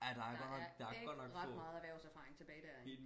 der er ikke ret meget erhvervserfaring tilbage derinde